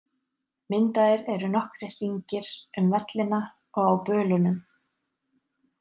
Myndaðir eru nokkrir hringir um vellina og á bölunum.